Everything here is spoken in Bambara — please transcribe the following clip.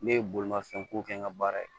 Ne ye bolimafɛn ko kɛ n ka baara ye